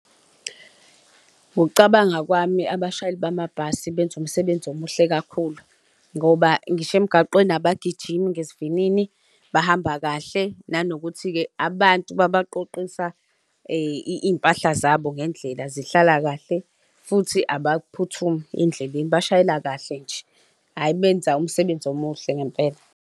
Ngokucabanga kwami, abashayeli bamabhasi benza umsebenzi omuhle kakhulu ngoba ngisho emgaqweni abagijimi ngesivinini, bahamba kahle. Nanokuthi-ke abantu babaqoqisa iy'mpahla zabo ngendlela zihlala kahle futhi abaphuthumi endleleni bashayela kahle nje, hhayi benza umsebenzi omuhle ngempela.